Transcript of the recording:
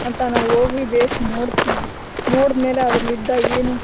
ಅಂತ ನಾವು ಹೋಗಿ ಬೇಸ್ ನೋಡತ್ತಿವಿ ನೋಡದಮೇಲೆ ಅದ್ರಲ್ಲಿ ಇದ್ದ ಏನು--